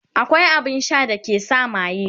akwai abun Sha da ke sa maye